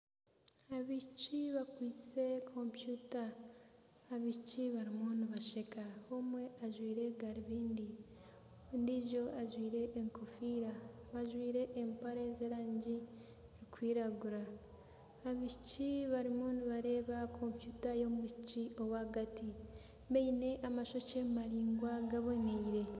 Abaishiki bakwaitse kompyuta. Abaishiki barimu nibasheka, omwe ajwaire garubindi. Ondiijo ajwaire enkofiira. Bajwaire empare z'erangi erikwiragura. Abaishiki barimu nibareeba kompyuta y'omwishiki ow'ahagati. Baine amashokye maraingwa gaboniire.